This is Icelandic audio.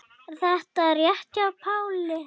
Er þetta rétt hjá Páli?